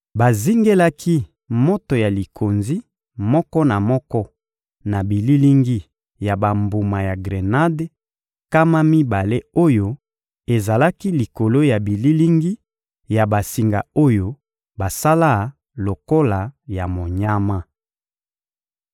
Bazingelaki moto ya likonzi moko na moko na bililingi ya bambuma ya grenade nkama mibale oyo ezalaki likolo ya bililingi ya basinga oyo basala lokola ya monyama.